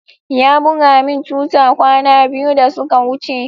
Ya buga min tuta kwana biyu da suka wuce.